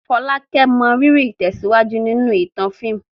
Folake mọrírì ìtẹ̀síwájú nínú ìtàn fíìmù.